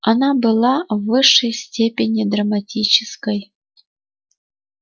она была в высшей степени драматической